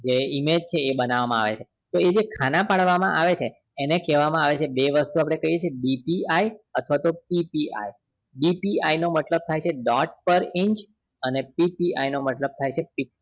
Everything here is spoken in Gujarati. કે જે image છે એ બનાવામાંઆવે છે તો image તો એ જે ખાના પાડવામાં આવે છે એને ખાવામાં આવે છે આપણે બે વસ્તુ કહીએ છીએ DPI અથવા તો PPIDPI નો મતલબ થાય છે dot par inchPPI નો મતલબ થાય છે pic